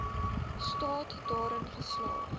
staat daarin geslaag